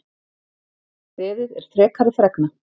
Beðið er frekari fregna